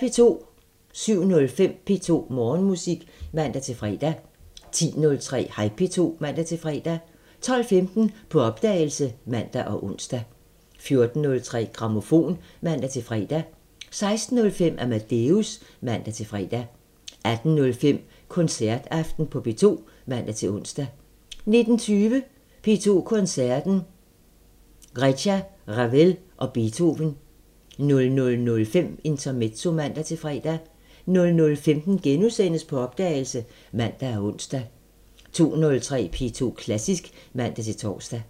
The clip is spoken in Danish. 07:05: P2 Morgenmusik (man-fre) 10:03: Hej P2 (man-fre) 12:15: På opdagelse (man og ons) 14:03: Grammofon (man-fre) 16:05: Amadeus (man-fre) 18:05: Koncertaften på P2 (man-ons) 19:20: P2 Koncerten – Reicha, Ravel & Beethoven 00:05: Intermezzo (man-fre) 00:15: På opdagelse *(man og ons) 02:03: P2 Klassisk (man-tor)